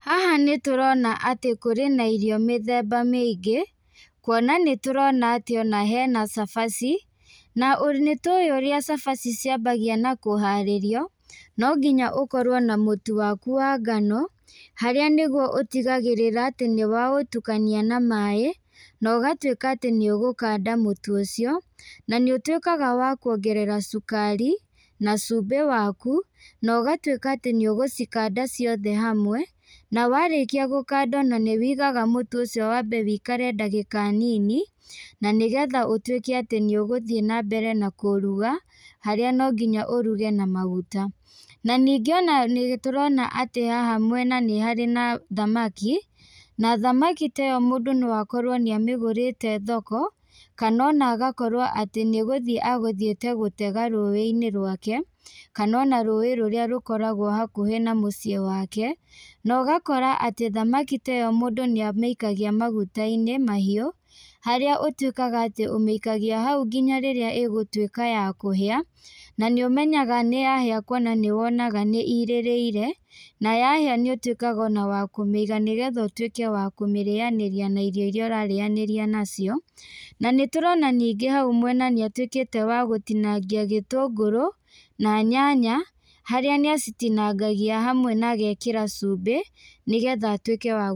Haha nĩtũrona atĩ kũrĩ na irio mĩthemba mĩingĩ, kuona nĩtũrona atĩ ona hena cabaci, na nĩtũĩ ũrĩa cabaci ciambagĩa na kũharĩrio, no nginya ũkorwo na mũtu waku wa ngano, harĩa nĩguo ũtigagĩrĩra atĩ nĩwaũtukania na maĩ, na ũgatuĩka atĩ naũgakanda mũtu ũcio, na nĩũtuĩkaga wa kuongerera cukari, na cumbĩ waku, na ũgatuĩka atĩ nĩũgũcikanda ciothe hamwe, na warĩkia gũkanda nanĩwĩigaga mũtu ũcio wambe wĩikare ndagĩka nini, na nĩgetha ũtuĩke atĩ nĩũgũthiĩ nambere na kũruga, harĩa nonginya ũruge na maguta. Na ningĩ ona nĩtũrona atĩ haha mwena nĩharĩ na thamaki, na thamaki ta ĩyo mũndũ no akorwo nĩamĩgũrĩte thoko, kana ona agakorwo atĩ nĩgũthiĩ agũthiĩte gũtega rũĩinĩ rwake, kana ona rũĩ rũrĩa rũkoragwo hakũhĩ na mũciĩ wake, na ũgakora atĩ thamaki ta ĩyo mũndũ nĩamĩikagia magutainĩ mahiũ, harĩa ũtuĩkaga atĩ ũmĩikagia hau nginya rĩrĩa ĩgũtuĩka ya kũhĩa, na nĩũmenyaga nĩyahĩa kuona nĩwonaga nĩirĩrĩire, na yahĩa nĩũtuĩkaga ona wa kũmĩiga nĩgetha ũtuĩke wa kũmĩrĩanĩria na irio iria ũrarĩanĩria nacio, na nĩtũrona nĩngĩ hau mwena nĩatuĩkĩte wa gũtinangia gĩtũngũrũ, na nyanya, harĩa nĩacitinangagia hamwe na agekĩra cumbĩ, nĩgetha atuĩke wa.